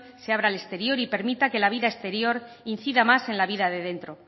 se habrá al exterior y permita que la vida exterior incida más en la vida de dentro